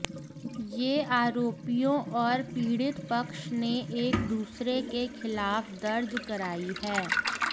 ये आरोपियों और पीड़ित पक्ष ने एकदूसरे के खिलाफ दर्ज कराई हैं